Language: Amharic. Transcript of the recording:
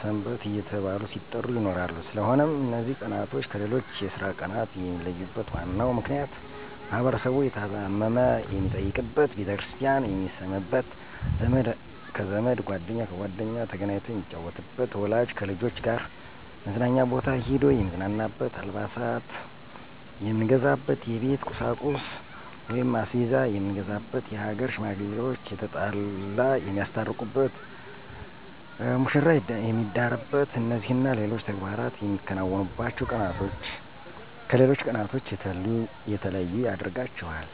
ሰንበት እየተባሉ ሲጠሩ ይኖራሉ ስለሆነም እነዚ ቀናቶች ከሌሎች የስራ ቀናት የሚለዩበት ዋናው ምክንያት ማህበረሰቡ የታመመ የሚጠይቅበት፣ ቤተክርስቲያን የሚስምበት፣ ዘመድ ከዘመድ ጓደኛ ከጓደኛ ተገናኝቶ የሚጫወትበት፣ ወላጅ ከልጆች ጋር መዝናኛ ቦታ ሂዶ የሚዝናናበት፣ አልባሳት የምንገዛበት፣ የቤት ቁሳቁስ(አስቤዛ የምንገዛበት)የሀገር ሽማግሌዋች የተጣላ የሚያስታርቁበት፣ መሽራ የሚዳርበት እነዚህና ሌሎች ተግባራት የምናከናውንባቸው ቀናቶች ከሌሎች ቀናቶች የተለዩ ያደርጋቸዋል።